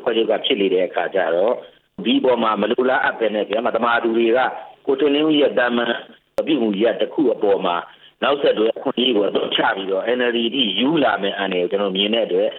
ဖွဲ့ချုပ်ကဖြစ်နေတဲ့အခါကျတော့ ဒီပေါ်မှာ မလိုလားအပ်ပဲ မသမာသူတွေက ကိုထင်လင်းဦးရဲ့သာမန် အပြုအမှုရပ်တစ်ခုအပေါ်မှာ နောက်ဆက်တွဲ အခွင့်အရေးကို အသုံးချပြီးတော့ NLD ထိယူလာမယ့် အန္တရာယ်ကို ကျနော်မြင်တဲ့အတွက်